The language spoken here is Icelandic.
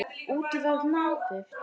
Úti var napurt.